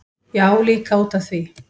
Já, líka út af því.